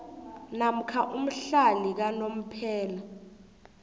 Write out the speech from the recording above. namkha umhlali kanomphela